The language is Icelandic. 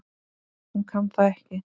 Hún kann það ekki.